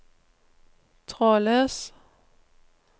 trådløs